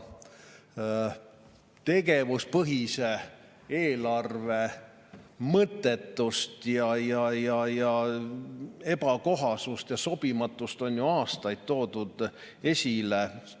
Tegevuspõhise eelarve mõttetust, ebakohasust ja sobimatust on aastaid esile toodud.